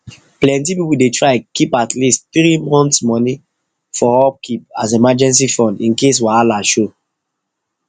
plenty people dey try keep at least three months money for upkeep as emergency fund in case wahala show